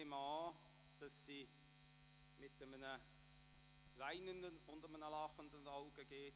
Ich nehme an, dass sie mit einem weinenden und lachenden Auge geht.